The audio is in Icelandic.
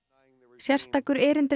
sérstakur erindreki